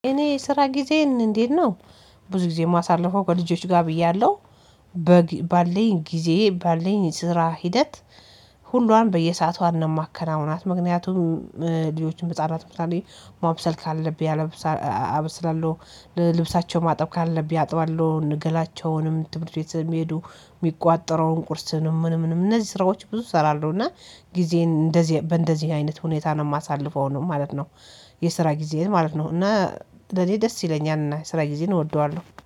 እኔ የስራ ጊዜዬን እንዴት ነው? ብዙ ጊዜ ማሳለፈው ከልጆች ጋር እያለሁ ባልኝ ጊዜ ባልኝ የስራ ሂደት ሁሏን በየሰአቷ ማከናውናት ምክንያቱም ልጆችን ህፃናት በተለይ ማብሰል ካለብኝ አበስላለሁ ልብሳቸው ማጠብ ካለብኝ አጥባለሁ ገላቸውንም ትምህርት ቤት የሚሄዱ የሚቋጠረውን ቁርስን ምንም ምንም እነዚህ ስራዎች ብዙ እሰራለሁ እና ጊዜን እንደዚህ በእንደዚህ አይነት ሁኔታ ነው የማሳልፈው ነው ማለት ነው። የስራ ጊዜዬን ማለት ነው እና ለኔ ደስ ይለኛል እና የስራ ጊዜን እወደዋለሁ